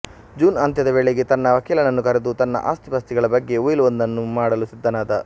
June ಅಂತ್ಯದ ವೇಳೆಗೆ ತನ್ನ ವಕೀಲನನ್ನು ಕರೆದು ತನ್ನ ಅಸ್ತಿಪಾಸ್ತಿಗಳ ಬಗ್ಗೆ ಉಯಿಲ್ ಒಂದನ್ನು ಮಾಡಲು ಸಿದ್ದನಾದ